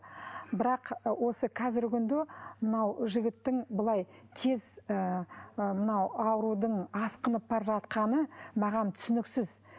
бірақ ы осы қазіргі күнде мынау жігіттің былай тез ы мынау аурудың асқынып бара жатқаны маған түсініксіз